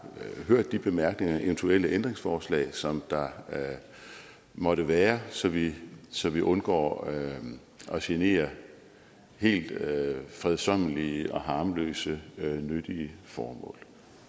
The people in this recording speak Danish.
hørt de bemærkninger og eventuelle ændringsforslag som der måtte være så vi så vi undgår at genere helt fredsommelige og harmløse nyttige formål